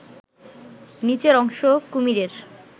নিচের অংশ কুমিরের